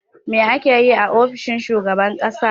Me ake yi a ofishin shugaban ƙasa?